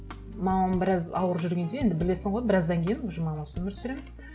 мамам біраз ауырып жүргенде енді білесің ғой біраздан кейін уже мамасыз өмір сүремін